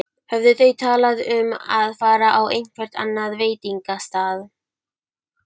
Höfðu þau talað um að fara á einhvern annan veitingastað?